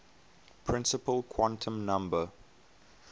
principal quantum number